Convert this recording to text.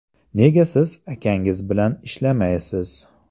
Nega siz akangiz bilan ishlamaysiz?